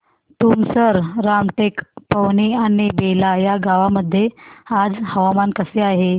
तुमसर रामटेक पवनी आणि बेला या गावांमध्ये आज हवामान कसे आहे